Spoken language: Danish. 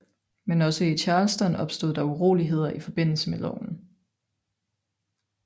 Men også i Charleston opstod der uroligheder i forbindelse med loven